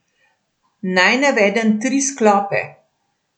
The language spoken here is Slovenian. Naj navedem tri sklope.